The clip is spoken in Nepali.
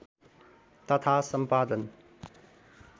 तथा सम्पादन